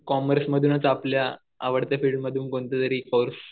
कॉमर्समधूनच आपल्या आवडत्या फिल्डमधून कोणतं तरी कोर्स